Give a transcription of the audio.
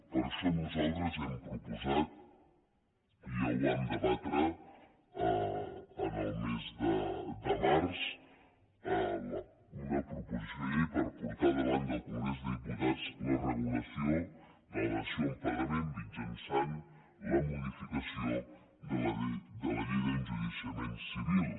per això nosaltres hem proposat i ja ho vam debatre el mes de març una proposició de llei per portar davant del congrés dels diputats la regulació de la dació en pagament mitjançant la modificació de la llei d’enjudiciament civil